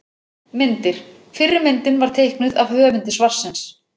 Myndir: Fyrri myndin var teiknuð af höfundi svarsins.